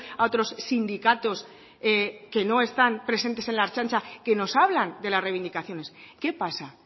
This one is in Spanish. a otros sindicatos que no están presentes en la ertzaintza que nos hablan de las reivindicaciones qué pasa